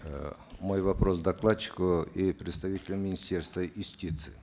э мой вопрос докладчику и представителю министерства юстиции